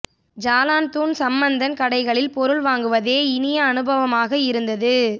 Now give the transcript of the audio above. Jalan Tun Sambanthan கடைகளில் பொருள் வாங்குவதே இனிய அனுபவமாக இருந்தது